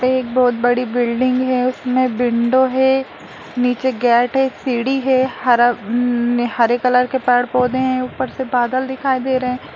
एक बहुत बड़ी बिल्डिंग हैं उसमे विंडो हैं नीचे गेट हैं सीढ़ी हैं हरा हम्म हरे कलर के पेड़ पौधे हैं ऊपर से बादल दिखाई दे रहे हैं।